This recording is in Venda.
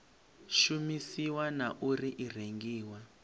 shumisiwa na uri i rengiwa